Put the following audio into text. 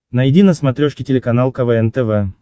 найди на смотрешке телеканал квн тв